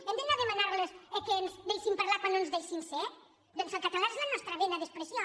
hem d’anar a de·manar·los que ens deixin parlar quan no ens deixen ser doncs el català és la nostra vena d’expressió